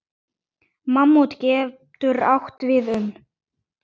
Mammút getur átt við um